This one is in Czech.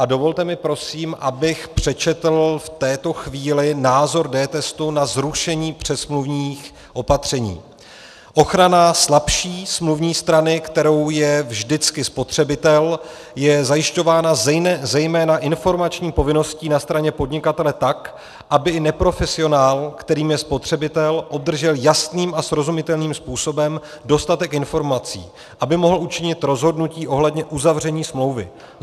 A dovolte mi, prosím, abych přečetl v této chvíli názor dTestu na zrušení předsmluvních opatření: "Ochrana slabší smluvní strany, kterou je vždycky spotřebitel, je zajišťována zejména informační povinností na straně podnikatele tak, aby i neprofesionál, kterým je spotřebitel, obdržel jasným a srozumitelným způsobem dostatek informací, aby mohl učinit rozhodnutí ohledně uzavření smlouvy.